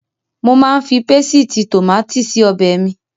Mo máa ń fi pésìtì tòmátì se ọbẹ̀ mi.